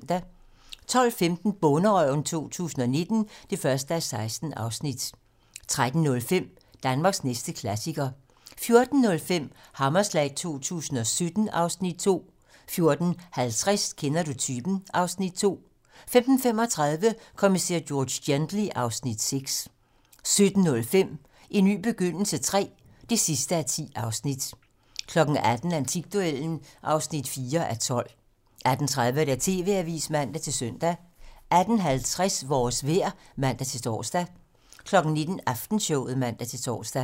12:15: Bonderøven 2019 (1:16) 13:05: Danmarks næste klassiker 14:05: Hammerslag 2017 (Afs. 2) 14:50: Kender du typen? (Afs. 2) 15:35: Kommissær George Gently (Afs. 6) 17:05: En ny begyndelse III (10:10) 18:00: Antikduellen (4:12) 18:30: TV-Avisen (man-søn) 18:50: Vores vejr (man-tor) 19:00: Aftenshowet (man-tor)